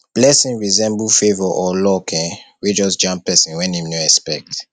blessing resemble favour or luck um wey just jam person when im no expect